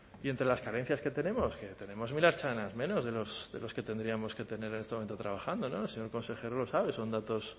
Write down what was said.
y entre las carencias que tenemos que tenemos mil ertzainas menos de los que tendríamos que tener en este momento trabajando el señor consejero lo sabe son datos